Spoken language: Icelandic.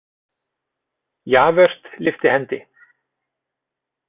Javert lyfti hendi.